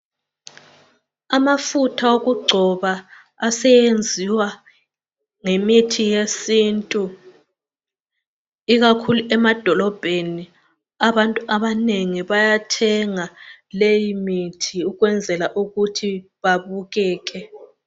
Amafutha wokugcoba aseyenziwa ngemithi yesintu ikakhulu emadolobheni abantu abanengi bayathenga leyi mithi ukwenzela ukuthi babukeke